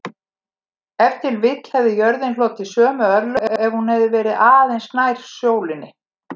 Ef til vill hefði jörðin hlotið sömu örlög ef hún væri aðeins nær sólinni.